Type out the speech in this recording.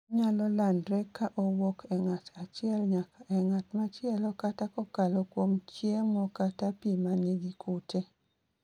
Onyalo landre ka owuok e ng'at achiel nyaka e ng'at ma chielo kata kokalo kuom chiem kata pi ma nigi kute